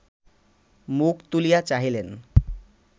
মুখ তুলিয়া চাহিলেন